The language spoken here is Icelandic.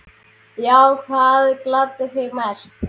Já Hvað gladdi þig mest?